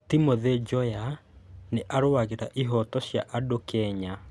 Timothy Njoya nĩ aarũagĩrĩra ihooto cia andũ Kenya.